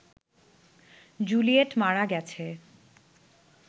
Juliet মারা গেছে